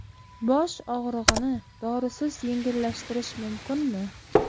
Bosh og‘rig‘ini dorisiz yengillashtirish mumkinmi?